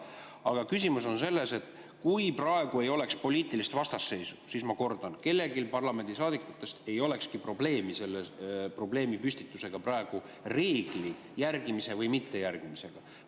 Aga küsimus on selles, et kui praegu ei oleks poliitilist vastasseisu, siis, ma kordan, kellelgi parlamendisaadikutest ei olekski probleemi selle probleemipüstitusega praegu, reegli järgimise või mittejärgimisega.